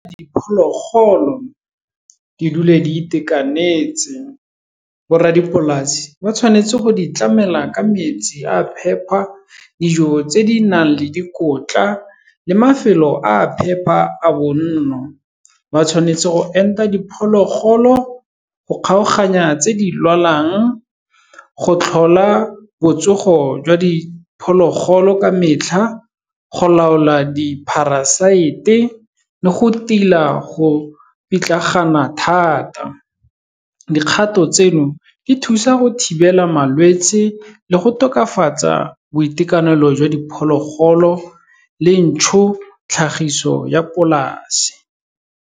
Diphologolo di dule di itekanetse, borra dipolasi ba tshwanetse go di tlamela ka metsi a phepa, dijo tse di nang le dikotla le mafelo a phepa a bonno, ba tshwanetse go enta diphologolo, go kgaoganya tse di lwalang, go tlhola botsogo jwa diphologolo ka metlha, go laola di-parasite-e le go tila go pitlagana thata. Dikgato tseno, di thusa go thibela malwetsi le go tokafatsa boitekanelo jwa diphologolo le ntšho, tlhagiso ya polase.